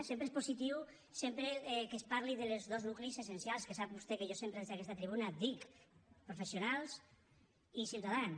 sempre és positiu sempre que es parli dels dos nuclis essencials que sap vostè que jo sempre des d’aquesta tribuna dic professionals i ciutadans